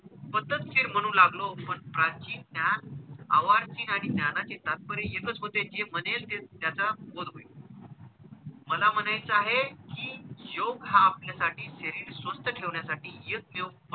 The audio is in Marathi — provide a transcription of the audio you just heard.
पद्धतशीर म्हणू लागलो किंवा प्राचीन त्या अवाचीन आणि ज्ञानाचे तात्पर्य एकच होते जे म्हणेल ते त्याचा वध होईल. मला म्हणायचं आहे कि योग हा आपल्यासाठी शरीर स्वस्थ ठेवण्यासाठी एकमेव,